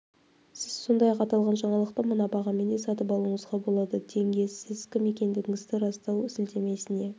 сіз сондай-ақ аталған жаңалықты мына бағамен де сатып алуыңызға болады тенге сіз кім екендігіңізді растау сілтемесіне